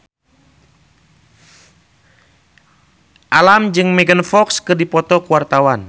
Alam jeung Megan Fox keur dipoto ku wartawan